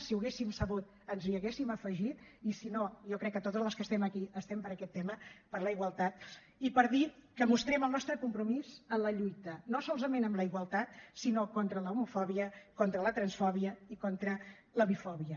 si ho haguéssim sabut ens hi haguéssim afegit i si no jo crec que totes les que estem aquí estem per aquest tema per la igualtat i per dir que mostrem el nostre compromís en la lluita no solament amb la igualtat sinó contra l’homofòbia contra la transfòbia i contra la bifòbia